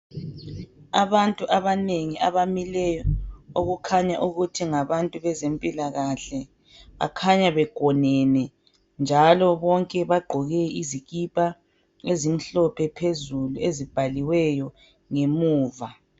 Abantu abanengi abamileyo okukhanya ukuthi ngabantu bezempilalahle bakhanya begonene njalo bonke bagqoke izikipa ezimhlophe phezulu ezibhaliwe ngemuva